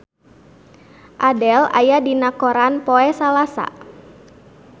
Adele aya dina koran poe Salasa